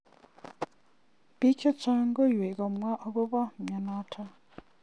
Pik che chang koywei komwa ako bo myonotok.